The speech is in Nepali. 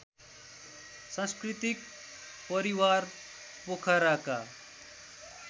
सांस्कृतिक परिवार पोखराका